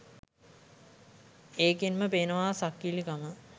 ඒකෙන් ම පේනවා සක්කිලි කම